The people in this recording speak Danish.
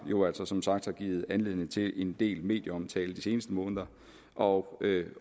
jo altså som sagt har givet anledning til en del medieomtale i de seneste måneder og